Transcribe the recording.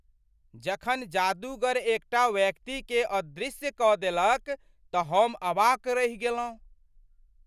जखन जादूगर एकटा व्यक्तिकेँ अदृश्य कऽ देलक तऽ हम अवाक रहि गेलहुँ।